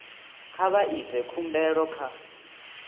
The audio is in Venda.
kha vha ite khumbelo kha